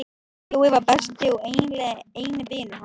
Jói var besti og eiginlega eini vinur hans.